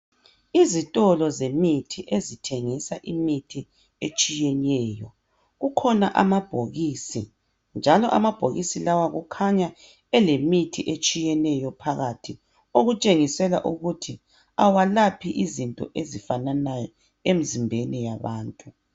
Izitolo zemithi ezithengisa imithi etshiyeneyo, kukhona amabhokisi njalo amabhokisi lawa kukhanya elemithi etshiyeneyo phakathi okutshengisela ukuthi awalaphi izinto ezifananayo emzimbeni yabantu.